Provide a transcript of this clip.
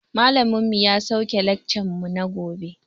Malamin mu ya sauke laccan mu na gobe